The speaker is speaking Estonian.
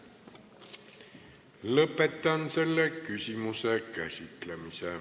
Lõpetan selle küsimuse käsitlemise.